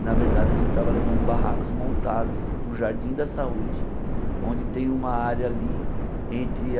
E na verdade a gente tava levando barracos montados para o Jardim da Saúde, onde tem uma área ali entre a...